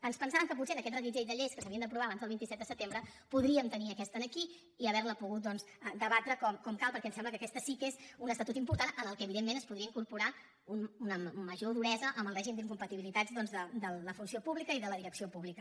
ens pensàvem que potser amb aquest reguitzell de lleis que s’havien d’aprovar abans del vint set de setembre podríem tenir aquesta aquí i haver la pogut doncs debatre com cal perquè ens sembla que aquest sí que és un estatut important en què evidentment es podria incorporar una major duresa en el règim d’incompatibilitats de la funció pública i de la direcció pública